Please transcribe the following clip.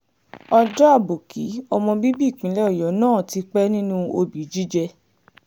ọjọ́ àbòkí ọmọ bíbí ìpínlẹ̀ ọ̀yọ́ náà ti pẹ́ nínú òbí jíjẹ́